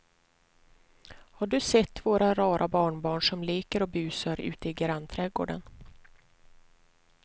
Har du sett våra rara barnbarn som leker och busar ute i grannträdgården!